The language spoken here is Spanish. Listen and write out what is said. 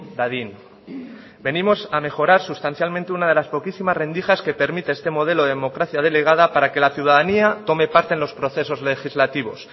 dadin venimos a mejorar sustancialmente una de las poquísimas rendijas que permite este modelo de democracia delegada para que la ciudadanía tome parte en los procesos legislativos